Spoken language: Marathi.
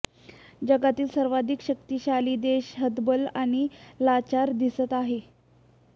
जगातील सर्वाधिक शक्तीशाली देश हतबल आणि लाचार दिसत आहे